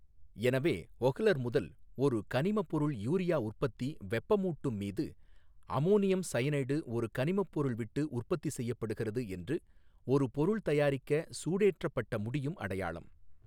எனவே ஒஹ்லர் முதல் ஒரு கனிம பொருள் யூரியா உற்பத்தி வெப்பமூட்டும் மீது அம்மோனியம் சயனேட் ஒரு கனிம பொருள் விட்டு உற்பத்தி செய்யப்படுகிறது என்று ஒரு பொருள் தயாரிக்க சூடேற்றப்பட்ட முடியும் அடையாளம்.